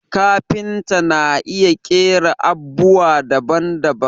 Kafinta na iya ƙera abubwa daban daban